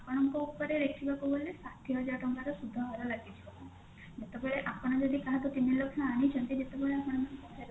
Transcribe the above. ଆପଣଙ୍କ ଉପରେ ଦେଖିବାକୁ ଗଲେ ଷାଠିଏ ହଜାର ଟଙ୍କାର ସୁଧହାର ଲାଗିଥିବ ଯେତେବେଳେ ଆପଣ ଯଦି କାହାଠୁ ତିନିଲକ୍ଷ ଆଣିଛନ୍ତି ଯେତେବବେଳେ ଆପଣଙ୍କୁ ଫେରସ୍ତ